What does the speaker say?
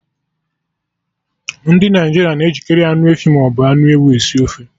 Ndị Naịjirịa na-ejikari anụ efi maọbụ anụ ewu esi ofe